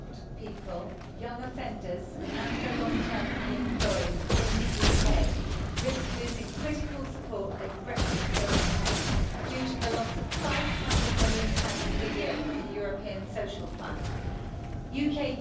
Mr President, disabled people, young offenders and the long term unemployed in the UK risk losing critical support if Brexit goes ahead, due to the loss of GBP 500 million per year from the European Social Fund UK